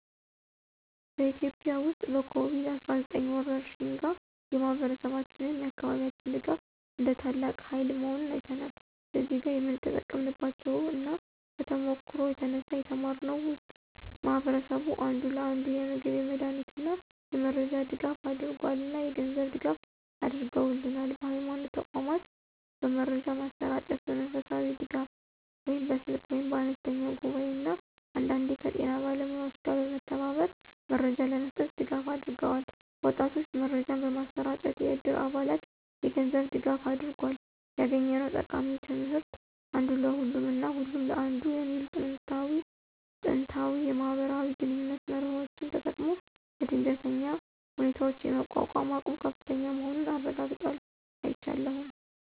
በኢትዮጵያ ውስጥ ከኮቪድ-19 ወረርሽኝ ጋር፣ የማህበረሰባችን ወይም የአካባቢያችን ድጋፍ እንደ ታላቅ ሃይል መሆኑን አይተናል። እዚህ ጋር የተጠቀምንባቸው እና ከተሞክሮው የተነሳ የተማርነው ውስጥ ማህበረሰቡ አንዱ ለአንዱ የምግብ፣ የመድሃኒት እና የመረጃ ድጋፍ አደረገል እና የገንዝብ ድጋፍ አድርገውልናል። በሀይማኖት ተቋማት በመረጃ ማሰራጨት፣ በመንፈሳዊ ድጋፍ (በስልክ ወይም በአነስተኛ ጉባኤ) እና አንዳንዴ ከጤና ባለሙያዎች ጋር በመተባበር መረጃ ለመስጠት ድጋፍ አድርገዋል። ወጣቶች መረጃን በማሰራጨት፣ የዕድር አባላት የገንዝብ ድጋፋ አድርጎል። ያገኘነው ጠቃሚ ትምህርት (አንዱ ለሁሉም እና ሁሉም ለአንዱ) የሚሉ ጥንታዊ የማህበራዊ ግንኙነት መርሆዎችን ተጠቅሞ ለድንገተኛ ሁኔታዎች የመቋቋም አቅሙ ከፍተኛ መሆኑን አረጋግጧል። አይቻለሁም።